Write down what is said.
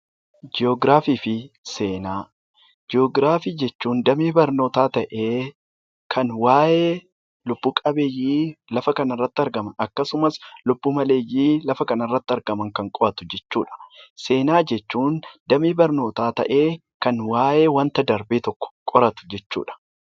Jii'oogiraafii jechuun damee barnootaa ta'ee kan waayee lubb-qabbeeyyii lafa kanarrati argaman akkasumas lubbu-maleeyyii lafa kanarrati argaman kan qo'atu jechuudha. Seenaa jechuun damee barnootaa ta'ee kan waayee wanta darbee tokko qoratu jechuudha